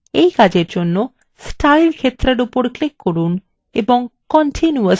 এই কাজের জন্য স্টাইল ক্ষেত্রের উপর click করুন এবং continuous নির্বাচন করুন